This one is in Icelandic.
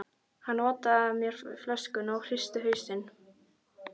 Hann otaði að mér flöskunni, en ég hristi hausinn.